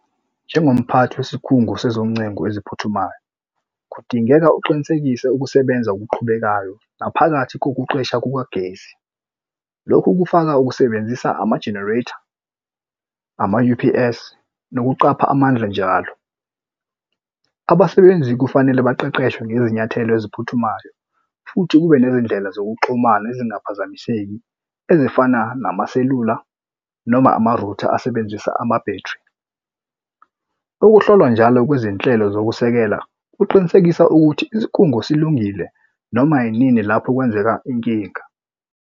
Njengomphathi wesikhungo sizoncengo eziphuthumayo, kudingeka uqinisekise ukusebenza okuqhubekayo ngaphakathi kokuqesha kukagesi. Lokhu kufaka ukusebenzisa ama-generator, ama-U_P_S, nokuqapha amandla njalo. Abasebenzi kufanele baqeqeshwe ngezinyathelo eziphuthumayo futhi kube nezindlela zokuxhumana ezingaphazamiseki ezifana namaselula noma amarutha asebenzisa amabhethri. Ukuhlolwa njalo kwezinhlelo zokusekela kuqinisekisa ukuthi inkungu silungile noma yinini lapho kwenzeka inkinga.